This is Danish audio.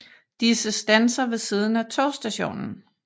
Disse standser ved siden af togstationen